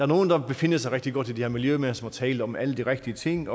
nogle der befinder sig rigtig godt i det her miljø mens man taler om alle de rigtige ting